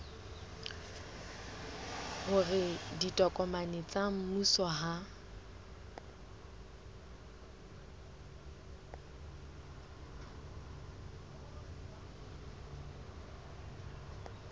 hore ditokomane tsa mmuso ha